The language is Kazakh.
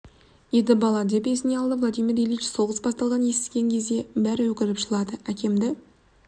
еді бала деп есіне алды владимир ильич соғыс басталғанын естіген кезде бәрі өкіріп жылады әкемді